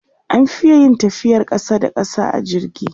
an Fi yin tafiyar ƙasa da ƙasa a jirgi